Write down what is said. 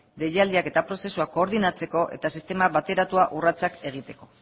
deialdiak eta prozesuak koordinatzeko eta sistema bateratua urratsak egiteko